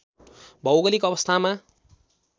भौगोलिक अवस्थामा